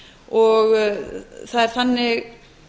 og það er þannig